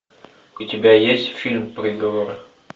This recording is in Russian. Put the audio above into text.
у тебя есть фильм приговор